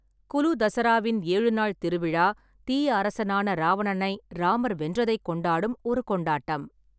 குலு தசராவின் ஏழு நாள் திருவிழா, தீய அரசனான ராவணனை ராமர் வென்றதைக் கொண்டாடும் ஒரு கொண்டாட்டம்.